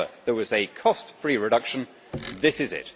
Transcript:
If ever there was a cost free reduction, this is it.